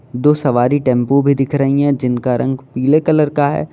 दो सवारी टेंपो भी दिख रही है जिनका रंग पीले कलर का है।